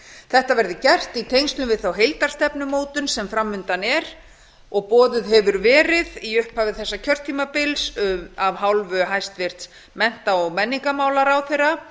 þetta verði gert í tengslum við þá heildarstefnumótun sem fram undan er og boðuð hefur verið í upphafi þessa kjörtímabils af hálfu hæstvirts mennta og menningarmálaráðherra